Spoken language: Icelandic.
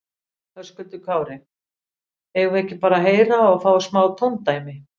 Höskuldur Kári: Eigum við ekki bara að heyra og fá smá tóndæmi?